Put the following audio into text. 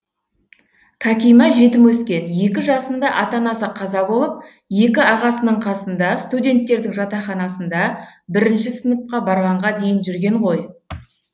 кәкима жетім өскен екі жасында ата анасы қаза болып екі ағасының қасында студенттердің жатақханасында бірінші сыныпқа барғанға дейін жүрген ғой